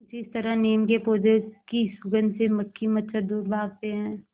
जिस तरह नीम के पौधे की सुगंध से मक्खी मच्छर दूर भागते हैं